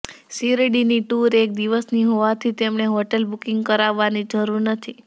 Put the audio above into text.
શિરડીની tour એક દિવસની હોવાથી તેમને હોટેલ બુકિંગ કરાવવાની જરૃર નથી